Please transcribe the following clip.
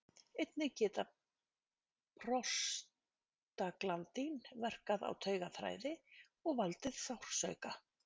Einnig geta prostaglandín verkað á taugaþræði og valdið sársauka.